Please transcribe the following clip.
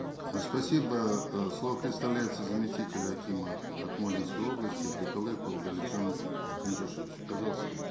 э спасибо э слово предоставляется заместителю акима акмолинской области абдыкалыкову галимжану кенжешевичу пожалуйста